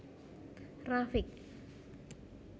Rafiq